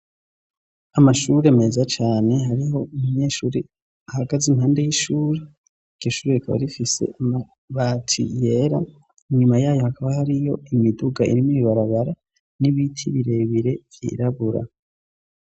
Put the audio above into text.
Amashuri meza cane hariho umunyeshuri ahagaze impande y'ishur,i iryo shuri rikaba rifise amabati yera inyuma yayo hakaba hariyo imiduga iri mw'ibarabara n'ibiti birebire vyirabura.